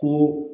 Ko